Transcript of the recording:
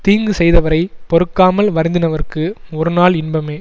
தீங்கு செய்தவரை பொறுக்காமல் வருத்தினவர்க்கு ஒரு நாள் இன்பமே